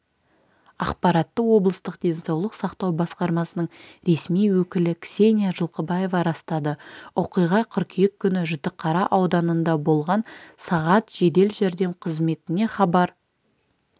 ақпаратты облыстық денсаулық сақтау басқармасының ресми өкілі ксения жылқыбаева растады оқиға қыркүйек күні жітіқара ауданында болған сағат жедел жәрдем қызметіне хабар